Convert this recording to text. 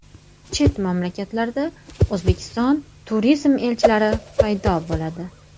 Chet mamlakatlarda O‘zbekiston turizm elchilari paydo bo‘ladi.